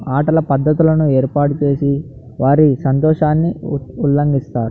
ఆటల పద్ధతులను ఏర్పాటు చేసి వారి సంతోషాన్ని ఉల్లంఘిస్తాడు.